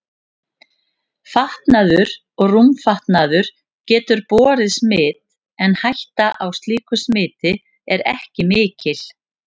Fatnaður og rúmfatnaður getur borið smit en hætta á slíku smiti er ekki mikil.